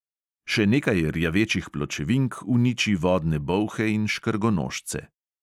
Še nekaj rjavečih pločevink uniči vodne bolhe in škrgonožce.